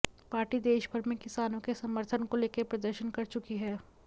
party देशभर में किसानों के समर्थन को लेकर प्रदर्शन कर चुकी है